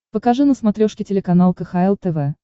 покажи на смотрешке телеканал кхл тв